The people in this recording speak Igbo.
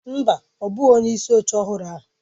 Mba, ọ bụghị onyeisi oche ọhụrụ ahụ.